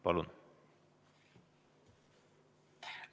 Palun!